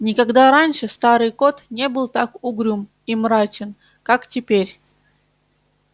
никогда раньше старый кот не был так угрюм и мрачен как теперь